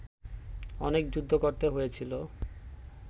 অনেক যুদ্ধ করতে হয়েছিল